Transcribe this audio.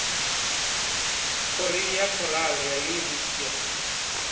korea khorale ya yunivesithi ya